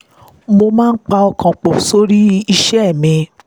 mo máa ń pọkàn pọ̀ sórí iṣẹ́ mi